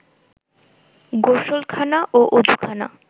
গোসলখানা ও অযুখানা